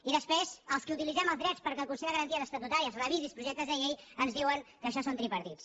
i després als qui utilitzem els drets perquè el consell de garanties estatutàries revisi els projectes de llei ens diuen que això són tripartits